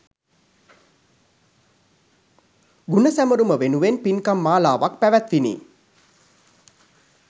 ගුණ සැමරුම වෙනුවෙන් පින්කම් මාලාවක් පැවැත්විණි